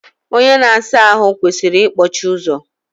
Onye na asa ahụ kwesịrị ikpọchi ụzọ.